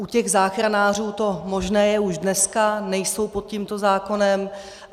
U těch záchranářů to možné je už dneska, nejsou pod tímto zákonem.